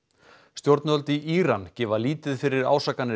stjórnvöld í Íran gefa lítið fyrir